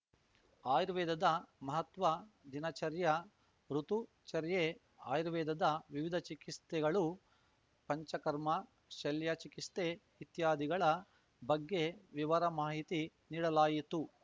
ಆಯುರ್ವೇದದ ಮಹತ್ವ ದಿನಚರ್ಯ ಋುತುಚರ್ಯೆ ಆಯುರ್ವೇದದ ವಿವಿಧ ಚಿಕಿಸ್ತೆಗಳು ಪಂಚಕರ್ಮ ಶಲ್ಯ ಚಿಕಿಸ್ತೆ ಇತ್ಯಾದಿಗಳ ಬಗ್ಗೆ ವಿವರ ಮಾಹಿತಿ ನೀಡಲಾಯಿತು